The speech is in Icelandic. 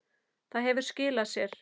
Það hefur skilað sér.